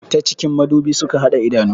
Ta cikin madubi suka hada idanu